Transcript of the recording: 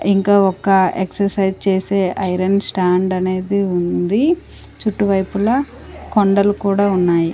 ఇంకా ఒక ఎక్సర్సైజ్ చేసే ఐరన్ స్టాండ్ అనేది ఉంది చుట్టువైపుల కొండలు కూడా ఉన్నాయి.